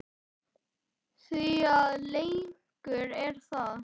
Því að leikur er það.